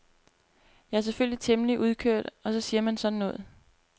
Jeg er selvfølgelig temmelig udkørt og så siger man sådan noget.